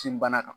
Tin bana kan